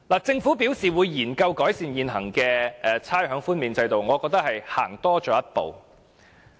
政府表示會研究改善現行的差餉豁免制度，我覺得已是走多了一步。